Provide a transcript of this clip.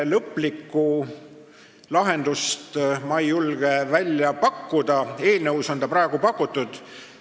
Lõplikku lahendust ei julge ma välja pakkuda, eelnõus on seda praegu pakutud.